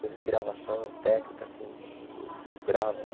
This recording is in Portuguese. Coisa de gravação, técnica, assim, eu gravo, né?